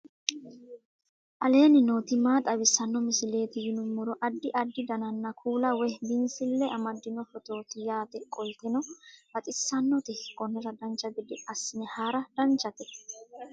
aleenni nooti maa xawisanno misileeti yinummoro addi addi dananna kuula woy biinsille amaddino footooti yaate qoltenno baxissannote konnira dancha gede assine haara danchate